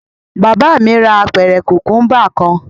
Bàbá mi ra apẹ̀rẹ̀ kùkúḿbà kan.